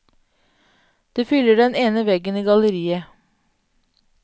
Det fyller den ene veggen i galleriet.